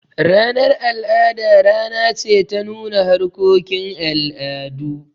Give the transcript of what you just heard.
Ranar al'ada rana ce ta nuna harkokin al'adu.